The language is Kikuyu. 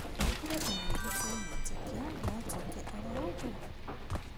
Augire ona ithuĩ twamwĩtĩkia notwĩke oro ũguo